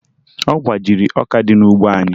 Ọ gbajiri ọka dị n'ugbo anyị